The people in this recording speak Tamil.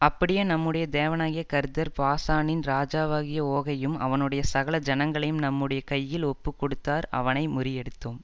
அப்படியே நம்முடைய தேவனாகிய கர்த்தர் பாசானின் ராஜாவாகிய ஓகையும் அவனுடைய சகல ஜனங்களையும் நம்முடைய கையில் ஒப்புக்கொடுத்தார் அவனை முறியடித்தோம்